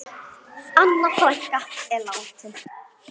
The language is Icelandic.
Anna frænka er látin.